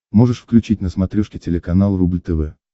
можешь включить на смотрешке телеканал рубль тв